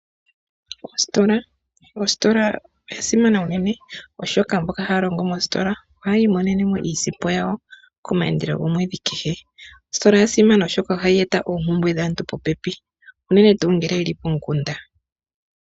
Oositola odha simana unene, oshoka mboka haya longo moositola ohaya imonene mo iisimpo yawo komayandelo gomwedhi kehe. Ostola oya simana oshoka ohayi eta oompumbwe dhaantu popepi, unene tuu ngele yeli komukunda.